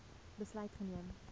besluit geneem